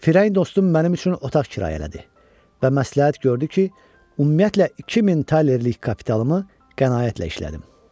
Firayın dostum mənim üçün otaq kirayə elədi və məsləhət gördü ki, ümumiyyətlə 2000 talerlik kapitalımı qənaətlə işlədim.